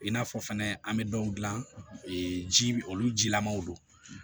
I n'a fɔ fɛnɛ an bɛ dɔw dilan ji olu jilamanw don